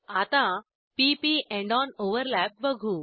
आता p P and on overlap बघू